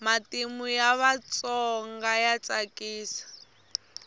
matimu ya vatsona ya tsakisa